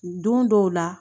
Don dɔw la